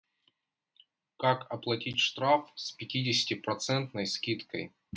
как оплатить штраф с пятидесяти процентной скидкой